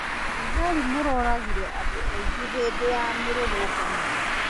Thigarĩ moragire andũ aigana hĩndĩ ya mĩrũrũngano?